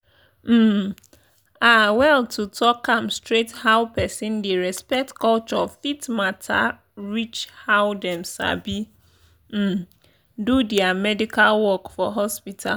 um ah well to talk am straight how person dey respect culture fit matter reach how dem sabi um do their medical work for hospital.